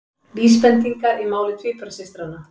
Vísbendingar í máli tvíburasystranna